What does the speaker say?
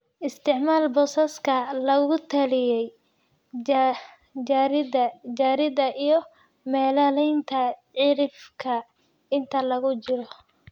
isticmaal boosaska lagu taliyey, jaridda jaridda iyo meelaynta cirifka inta lagu jiro